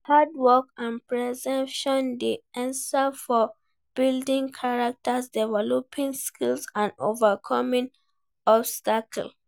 Hard work and perseverance dey essential for building character, developing skills and overcoming obstacles.